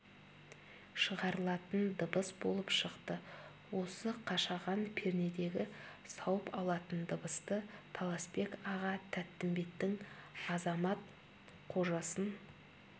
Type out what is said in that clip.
шығарылатын дыбыс болып шықты осы қашаған пернедегі сауып алатын дыбысты таласбек аға тәттімбеттің азамат қожасын